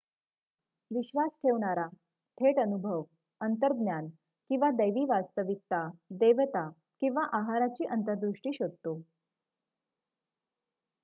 विश्वास ठेवणारा थेट अनुभव अंतर्ज्ञान किंवा दैवी वास्तविकता/देवता किंवा आहाराची अंतर्दृष्टी शोधतो